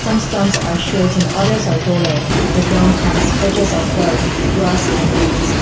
some stumps are shorts and others are taller the ground has grass and weeds.